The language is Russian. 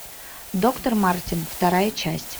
доктор мартин вторая часть